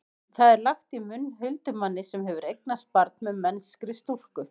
það er lagt í munn huldumanni sem hefur eignast barn með mennskri stúlku